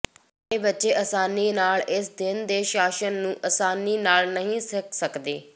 ਸਾਰੇ ਬੱਚੇ ਆਸਾਨੀ ਨਾਲ ਇਸ ਦਿਨ ਦੇ ਸ਼ਾਸਨ ਨੂੰ ਆਸਾਨੀ ਨਾਲ ਨਹੀਂ ਸਿੱਖ ਸਕਦੇ